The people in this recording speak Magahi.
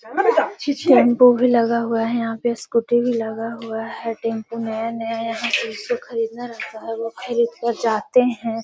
टेम्पो भी लगा हुआ है | यहाँ पे स्कूटी भी लगा हुआ है | टेम्पो नया नया यहाँ पे जिसको खरीदना रहता है वो खरीद कर जाते हैं |